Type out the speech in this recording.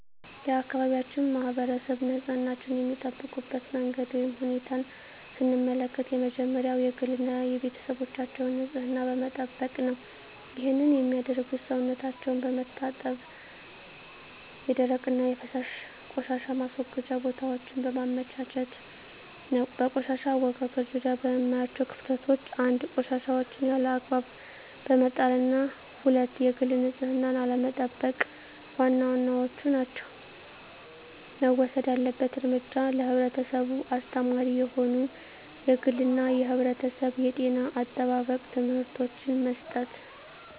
የአካባቢያችን ማህበረሰብ ንፅህናቸዉን የሚጠብቁበት መንገድ ወይም ሁኔታን ስንመለከት የመጀመሪያዉ የግል እና የቤተሰባቸዉን ንፅህና በመጠበቅ ነዉ ይህንንም የሚያደርጉት ሰዉነታቸዉን በመታጠብ የደረቅና የፈሳሽ ቆሻሻ ማስወገጃ ቦታወችን በማመቻቸት ነዉ። በቆሻሻ አወጋገድ ዙሪያ የማያቸዉ ክፍተቶች፦ 1. ቆሻሻወችን ያለ አግባብ በመጣልና 2. የግል ንፅህናን አለመጠቅ ዋና ዋናወቹ ናቸዉ። መወሰድ ያለበት እርምጃ ለህብረተሰቡ አስተማሪ የሆኑ የግልና የማህበረሰብ የጤና አጠባበቅ ትምህርቶችን መስጠት።